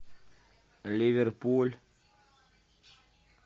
ливерпуль